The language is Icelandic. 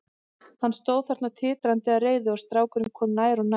Hann stóð þarna titrandi af reiði og strákurinn kom nær og nær.